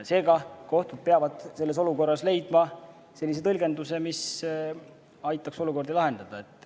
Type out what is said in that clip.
Seega, kohtud peavad selles olukorras leidma sellise tõlgenduse, mis aitaks probleemi lahendada.